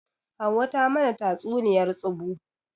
Hauwa ta mana tatsuniyar tsubu